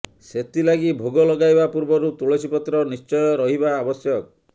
ସେଥିଲାଗି ଭୋଗ ଲଗାଇବା ପୂର୍ବରୁ ତୁଳସୀ ପତ୍ର ନିଶ୍ଚୟ ରହିବା ଆବଶ୍ୟକ